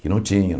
Que não tinha.